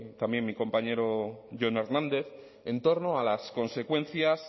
también mi compañero jon hernández en torno a las consecuencias